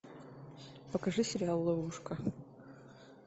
покажи сериал ловушка